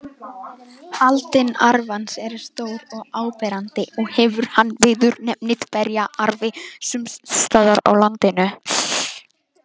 Aldin arfans eru stór og áberandi og hefur hann viðurnefnið berjaarfi sums staðar á landinu.